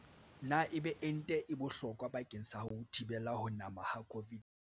Na ebe ente e bohlokwa bakeng sa ho thibela ho nama ha COVID-19?